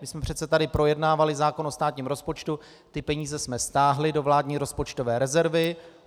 My jsme přece tady projednávali zákon o státním rozpočtu, ty peníze jsme stáhli do vládní rozpočtové rezervy.